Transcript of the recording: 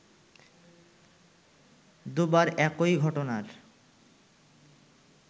দুবার একই ঘটনার